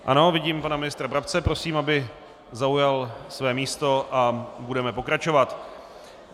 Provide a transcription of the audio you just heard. Ano, vidím pana ministra Brabce, prosím, aby zaujal své místo, a budeme pokračovat.